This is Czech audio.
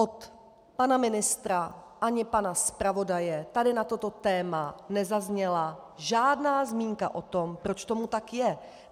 Od pana ministra ani pana zpravodaje tady na toto téma nezazněla žádná zmínka o tom, proč tomu tak je.